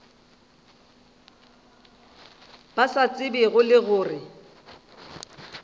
ba sa tsebego le gore